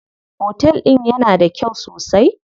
Otel din yana da kyau sosai.